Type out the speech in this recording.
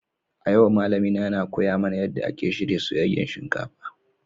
A yau malamina yana koya mana yadda ake shirya soyayyen shinkafa.